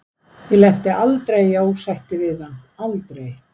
Ég lenti aldrei í ósætti við hann, aldrei.